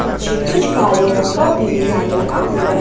पीछे कुछ काले रंग का भी डिजाइन बना हुआ है।